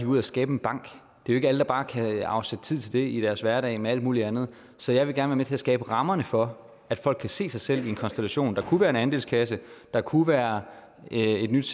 ud og skabe en bank det er ikke alle der bare kan afsætte tid til det i deres hverdag med alt muligt andet så jeg vil gerne være med til at skabe rammerne for at folk kan se sig selv i en konstellation der kunne være en andelskasse der kunne være et nyt